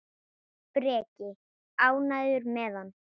Breki: Ánægður með hann?